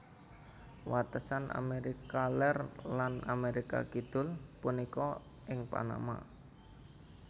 Watesan Amérika Lèr lan Amérika Kidul punika ing Panama